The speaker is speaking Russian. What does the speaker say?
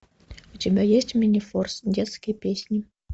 у тебя есть минифорс детские песни